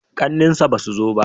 ƙannen sa ba su zo ba?